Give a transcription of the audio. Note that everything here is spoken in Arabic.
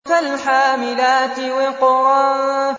فَالْحَامِلَاتِ وِقْرًا